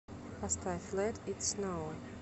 поставь лет ит сноу